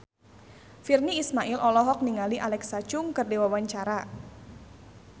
Virnie Ismail olohok ningali Alexa Chung keur diwawancara